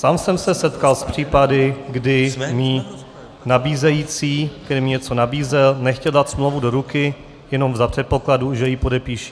Sám jsem se setkal s případy, kdy mi nabízející, který něco nabízel, nechtěl dát smlouvu do ruky, jenom za předpokladu, že ji podepíši.